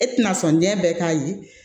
E tɛna sɔn den bɛɛ k'a ye